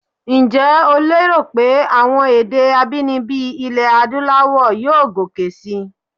Ǹjẹ́ o lérò pé àwọn èdè abínibí ilẹ̀ Adúláwọ̀ yóò gòkè síi?